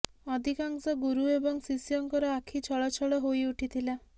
ଅଧିକାଂଶ ଗୁରୁ ଏବଂ ଶିଷ୍ୟଙ୍କର ଆଖି ଛଳଛଳ ହୋଇ ଉଠିଥିଲା